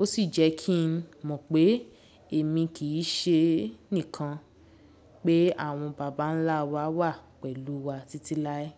ó sì jẹ́ kí n mọ̀ pé èmi kì í ṣe nìkan pé àwọn bàbá ńlá wa, wà pẹ̀lú wa títí láé.